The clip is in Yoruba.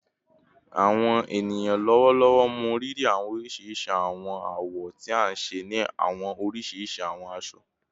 Awọn eniyan lọwọlọwọ mọrírì awọn oriṣiriṣi awọn awọ ti a nṣe ni awọn oriṣiriṣi awọn aṣọ